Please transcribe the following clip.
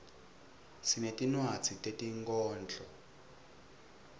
sinetinwadzi tetinkhondlo